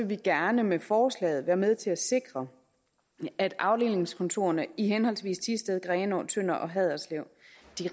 vi gerne med forslaget være med til at sikre at afdelingskontorerne i henholdsvis thisted grenaa tønder og haderslev